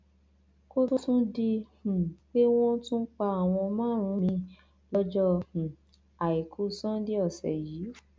kó tóó tún di um pé wọn tún pa àwọn márùn-ún miín lọjọ um àìkú sanńdé ọsẹ yìí